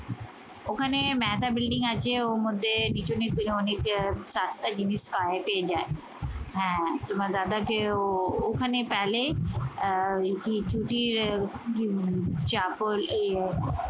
ওখানে মেহতা বিল্ডিং আছে, ওর মধ্যে পিছনে ফিরে অনেকে সস্তা জিনিস পায়েতে যায়। হ্যাঁ, তোমার দাদাকেও ওখানে পেলে